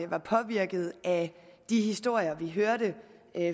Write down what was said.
var påvirket af de historier vi hørte